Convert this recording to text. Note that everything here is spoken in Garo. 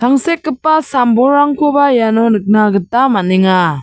tangsekgipa sam-bolrangkoba iano nikna gita man·enga.